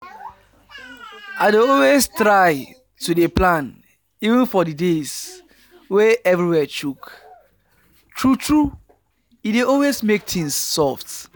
i dey always try to dey plan even for the days wey everywhere choke true true e dey always make things soft